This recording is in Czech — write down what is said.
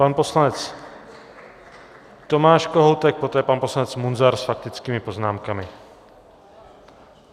Pan poslanec Tomáš Kohoutek, poté pan poslanec Munzar s faktickými poznámkami.